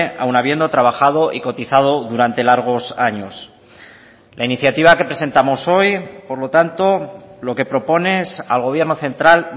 aun habiendo trabajado y cotizado durante largos años la iniciativa que presentamos hoy por lo tanto lo que propone es al gobierno central